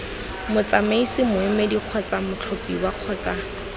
motsamaisi moemedi kgotsa mothapiwa kgotsa